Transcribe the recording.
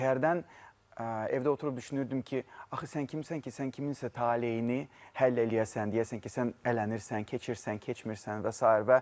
Çünki hərdən evdə oturub düşünürdüm ki, axı sən kimsən ki, sən kiminsə taleyini həll eləyəsən, deyəsən ki, sən ələnirsən, keçirsən, keçmirsən və sair.